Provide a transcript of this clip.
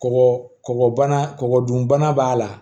Kɔkɔbana kɔgɔ dunbana b'a la